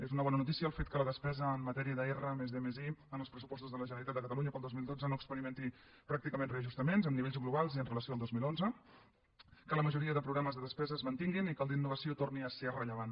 és una bona notícia el fet que la despesa en matèria de r+d+i en els pressupostos de la generalitat de catalunya per al dos mil dotze no experimenti pràcticament reajustaments en nivells globals i en relació amb el dos mil onze que la majoria de programes de despesa es mantinguin i que el d’innovació torni a ser rellevant